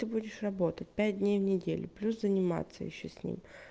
ты будешь работать пять дней в неделю плюс заниматься ещё с ним